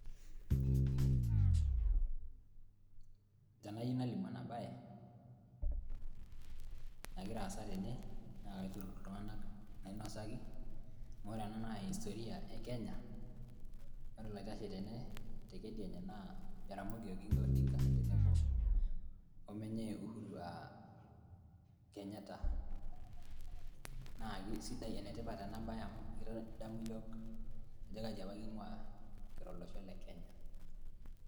tenayieu nalimu ena baye nagira aasa tene naakaiturrur iltung`anak nainosaki amu ore ena naa historia e kenya ore oloitashe tene tekedianye naa Jaramogi oginga odinga tenebo oo menye Uhuru aa Kenyatta naa kisidai enetipat ena baye amu kitadamu yiiok ajo kaji apa king`ua kira olosho le kenya.